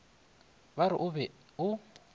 ba re o be o